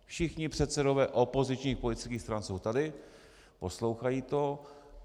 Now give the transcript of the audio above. Všichni předsedové opozičních politických stran jsou tady, poslouchají to.